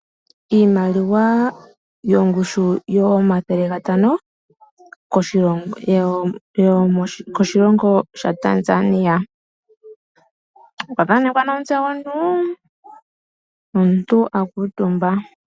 Iimaliwa yoongushu omathele gatano koshilongo sha Tanzania. Okwa thanekwa omutse gomuntu nomuntu akuutumba.